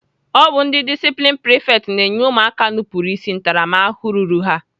Ọ bụ ndị disiplini prifekts na-enye ụmụakwụkwọ nupuru ịsị ntaramahụhụ ruru ha.